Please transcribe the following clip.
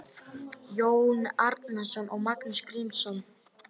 Jón Árnason og Magnús Grímsson